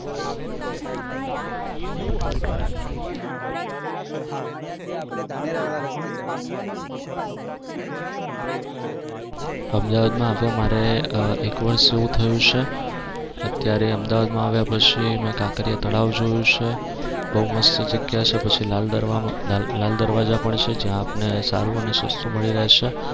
અમદાવાદમાં હવે મારે એક વર્ષ જેવુ થયું છે. અત્યારે અમદાવાદમાં આવ્યા પછી મે કાંકરિયા તળાવ જોયું છે. બવ મસ્ત જગ્યા છે પછી લાલ દરવા લાલ દરવાજા પણ છે. જ્યાં આપને સારું અને સસ્તું મળી રહેશે.